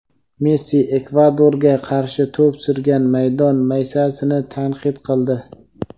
Messi Ekvadorga qarshi to‘p surgan maydon maysasini tanqid qildi.